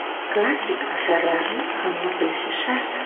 Klassik asarlarni hamma bilishi shart.